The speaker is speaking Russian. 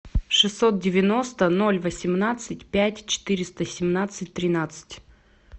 шестьсот девяносто ноль восемнадцать пять четыреста семнадцать тринадцать